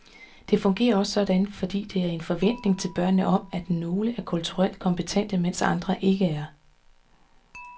Det fungerer også sådan, fordi der er en forventning til børnene om, at nogle er kulturelt kompetente, mens andre ikke er.